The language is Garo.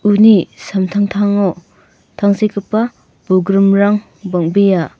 uni samtangtango tangsekgipa bolgrimrang bang·bea.